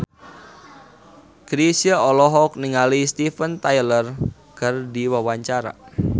Chrisye olohok ningali Steven Tyler keur diwawancara